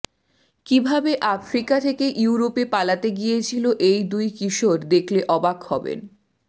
কী ভাবে আফ্রিকা থেকে ইউরোপে পালাতে গিয়েছিল এই দুই কিশোর দেখলে অবাক হবেন